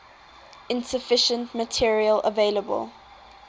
insufficient material available